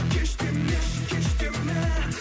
кеш демеші кеш деме